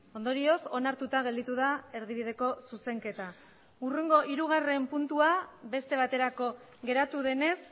ondorioz onartuta gelditu da erdibideko zuzenketa hurrengo hirugarren puntua beste baterako geratu denez